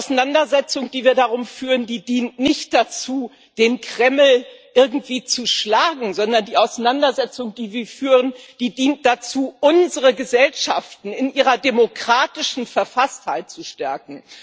Die Auseinandersetzung, die wir darum führen, dient nicht dazu, den Kreml irgendwie zu schlagen, sondern die Auseinandersetzung, die wir führen, dient dazu, unsere Gesellschaften in ihrer demokratischen Verfasstheit zu stärken.